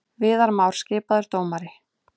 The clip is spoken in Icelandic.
Viðar Már skipaður dómari